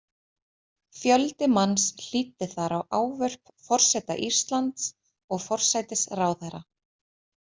Fjöldi manns hlýddi þar á ávörp Forseta Íslands og forsætisráðherra.